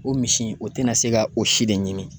O misi in o tɛna se ka o si de ɲimi